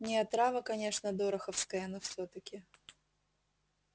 не отрава конечно дороховская но всё-таки